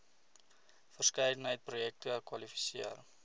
verskeidenheid projekte kwalifiseer